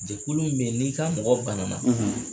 Jɛkulu min be yen, n'i ka mɔgɔ bana